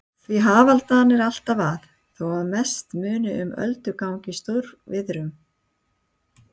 Því hafaldan er alltaf að, þó að mest muni um öldugang í stórviðrum.